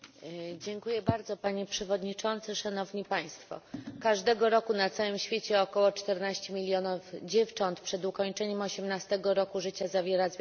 Panie Przewodniczący, Szanowni Państwo! Każdego roku na całym świecie około czternaście milionów dziewcząt przed ukończeniem osiemnastego roku życia zawiera związek małżeński.